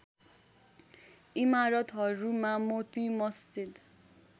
इमारतहरूमा Moti Masjid